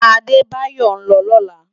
Adebayo n lò lòlá